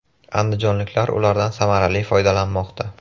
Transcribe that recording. Andijonliklar ulardan samarali foydalanmoqda.